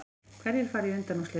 Hverjir fara í undanúrslit